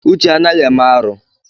Uche anaghị eme arụ.